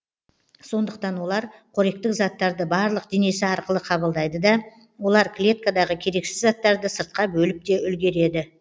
сондықтан олар қоректік заттарды барлық денесі арқылы қабылдайды да олар клеткадағы керексіз заттарды сыртқа бөліп те үлгереді